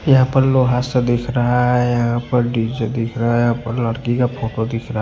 यहां पर लोहा सा दिख रहा है यहां पर डी_जे दिख रहा है आप लड़की का फोटो दिख रहा--